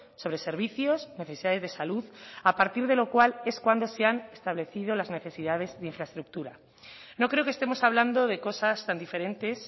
sobre servicios necesidades de salud a partir de lo cual es cuando se han establecido las necesidades de infraestructura no creo que estemos hablando de cosas tan diferentes